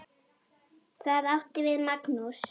Það átti við Magnús.